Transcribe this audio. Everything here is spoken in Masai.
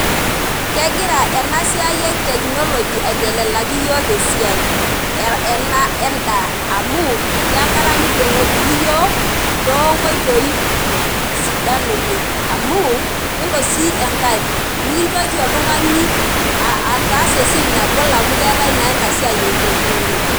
Kegira enasiai etetechnology aiteleliaki iyiok esiai ena endaa amu keya enkata nidongokini iyiok toonkoitoi sidan oleng amu yiolo si enkae mikintoki oltungani ataasa esiai nagol amukeetae naa enasiai etechnology .